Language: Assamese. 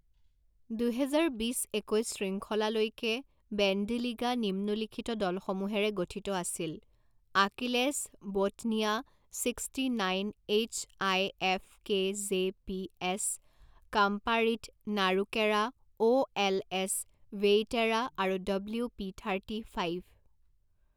দুহেজাৰ বিছ একৈছ শৃংখলালৈকে বেণ্ডীলিগা নিম্নোল্লিখিত দলসমূহেৰে গঠিত আছিল আকিলেছ ব'টনিয়া sixty nine H I F K J P S কাম্পাৰিট নাৰুকেৰা অ' এল এছ ভেইটেৰা আৰু ডব্লিউ পি থাৰ্টি ফাইভ।